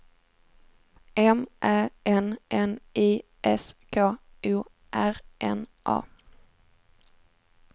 M Ä N N I S K O R N A